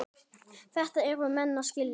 Þetta yrðu menn að skilja.